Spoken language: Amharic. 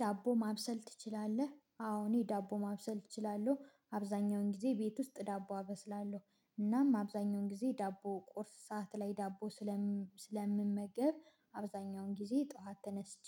ዳቦ ማብሰል ትችላለህ? አዎ እኔ ዳቦ ማብሰል እችላለሁ አብዛኛውን ጊዜ ቤት ውስጥ ዳቦ አበስላለሁ እናም አብዛኛውን ጊዜ ዳቦ ቁርስ ሰዓት ላይ ዳቦ ስለምመገብ አብዛኛውን ጊዜ ጠዋት ተነስቼ